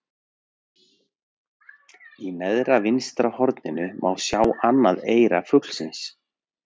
í neðra vinstra horninu má sjá annað eyra fuglsins